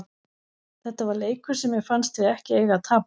Þetta var leikur sem mér fannst við ekki eiga að tapa.